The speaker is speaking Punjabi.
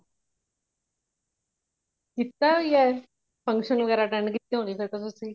ਕੀਤਾ ਵੀ ਹੈਂ function ਵਗੈਰਾ attend ਕੀਤੇ ਹੋਣੇ ਹੈਂ ਤੁਸੀ